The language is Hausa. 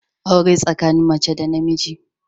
Aure tsakanin mace da namiji